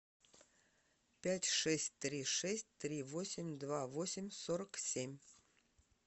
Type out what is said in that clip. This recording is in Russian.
пять шесть три шесть три восемь два восемь сорок семь